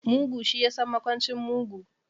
Mugu shi yasan makwancin mugu.